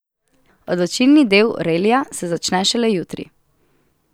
Odločilni del relija se začne šele jutri.